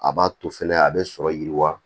A b'a to fɛnɛ a bɛ sɔrɔ yiriwa